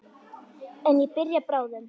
En ég byrja bráðum.